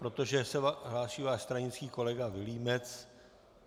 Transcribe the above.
Protože se hlásí váš stranický kolega Vilímec.